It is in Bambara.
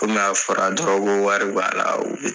Kɔmi a fɔra dɔrɔn ko wari b'a la